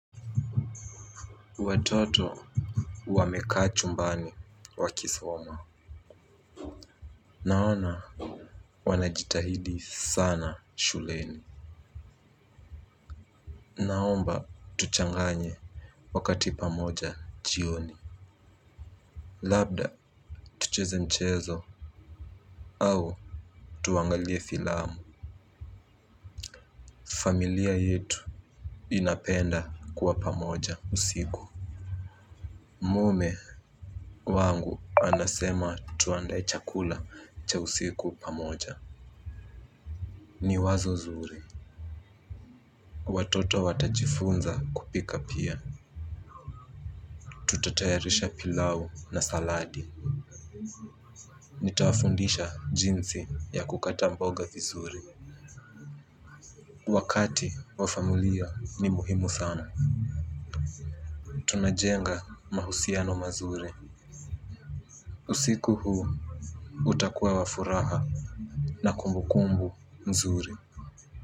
Watoto wamekaa chumbani wakisoma. Naona wanajitahidi sana shuleni. Naomba tuchanganye wakati pamoja jioni. Labda tucheze mchezo. Au tuangalie filamu. Familia yetu inapenda kuwa pamoja usiku. Mume wangu anasema tuandae chakula cha usiku pamoja. Ni wazo nzuri. Watoto watajifunza kupika pia Tutatayarisha pilau na saladi. Nitawafundisha jinsi ya kukata mboga vizuri. Wakati wafamilia ni muhimu sana. Tunajenga mahusiano mazuri. Usiku huu utakuwa wafuraha. Na kumbu kumbu mzuri.